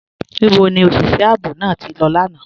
Níbò ni oṣiṣẹ̀ ààbò náà tí lọ lána?